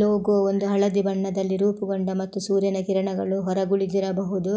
logo ಒಂದು ಹಳದಿ ಬಣ್ಣದಲ್ಲಿ ರೂಪುಗೊಂಡ ಮತ್ತು ಸೂರ್ಯನ ಕಿರಣಗಳು ಹೊರಗುಳಿದಿರಬಹುದು